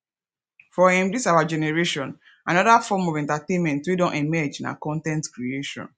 for um this our generation another form of entertainment wey don emerge na con ten t creation